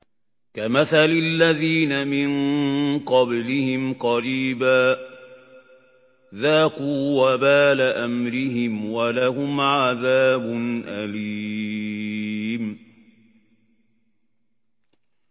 كَمَثَلِ الَّذِينَ مِن قَبْلِهِمْ قَرِيبًا ۖ ذَاقُوا وَبَالَ أَمْرِهِمْ وَلَهُمْ عَذَابٌ أَلِيمٌ